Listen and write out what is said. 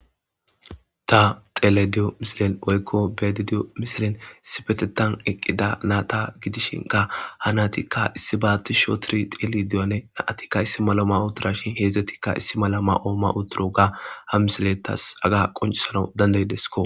Ta telayideyoo misilin oykko beedediyo misilin sipetetan eqqida naata gidishinka ha natikka issi baatisho tiri teli diyane naatikka issi malo ma utura shin heedzdzetikka issi mala ma'ooma uturo ga ha misiletas aga qoncisanau dandaydesko